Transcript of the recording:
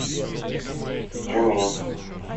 тюмень